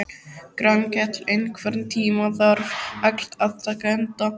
Grankell, einhvern tímann þarf allt að taka enda.